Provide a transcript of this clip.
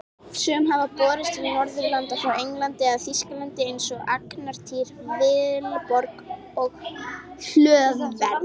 Sum hafa borist til Norðurlanda frá Englandi eða Þýskalandi eins og Angantýr, Vilborg og Hlöðver.